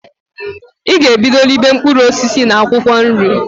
I g'ebido ribe mpkụrụ osisi na akwụkọ nri!